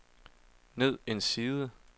ned en side